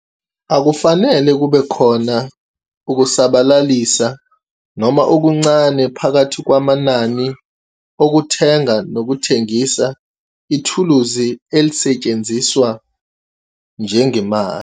Akufanele kube khona ukusabalalisa, noma okuncane, phakathi kwamanani ukuthenga nokuthengisa ithuluzi elisetshenziswa njengemali.